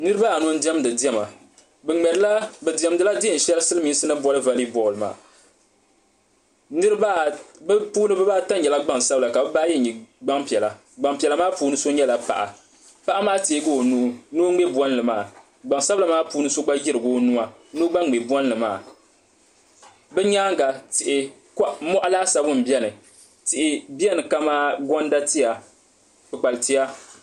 niriba anu n-diɛmdi diɛma bɛ diɛmdi la deen'shɛli silimiinsi ni boli vɔlibɔɔli maa bɛ puuni bibaaata nyɛla gbam'sabila ka bibaa ayi nyɛ gbam'piɛla gbam'piɛla maa puuni so nyɛla paɣa paɣa maa teegi o nuu ni o ŋme bolli mɛaa gban'sabila maa puuni so gba yirigi o nuu ni o gba ŋme bolli maa bɛ nyaanga mɔɣu laasabu m-beni tihi beni kami gɔnda tia kpukpali tia